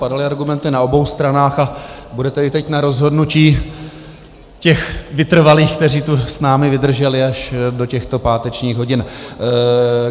Padaly argumenty na obou stranách a bude tedy teď na rozhodnutí těch vytrvalých, kteří tu s námi vydrželi až do těchto pátečních hodin.